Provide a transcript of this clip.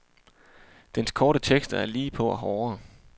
Dens korte tekster er lige på og hårde.